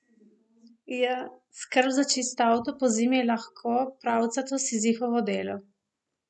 Skrb za čist avto pozimi je lahko pravcato Sizifovo delo.